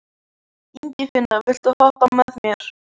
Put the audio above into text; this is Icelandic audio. Ingifinna, viltu hoppa með mér?